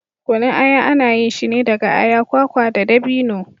Kunun aya ana yin shi ne daga aya, kwakwa da dabino.